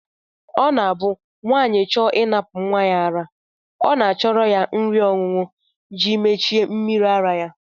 Ọ na-abụ nwaanyị chọọ ịnapụ nnwa ya ara ọ na-achọrọ nri ọṅụṅụ ji mechie mmiri ara ya